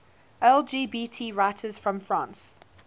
lgbt writers from france